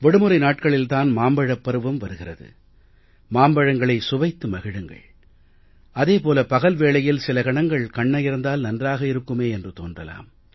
விடுமுறை நாட்களில் தான் மாம்பழப் பருவம் வருகிறது மாம்பழங்களை சுவைத்து மகிழுங்கள் அதே போல பகல் வேளையில் சில கணங்கள் கண்ணயர்ந்தால் நன்றாக இருக்குமே என்று தோன்றலாம்